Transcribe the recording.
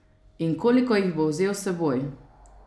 In koliko jih bo vzel s seboj?